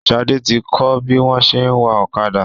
Shade tí kò bí wón ṣe wá Ọ̀kadà.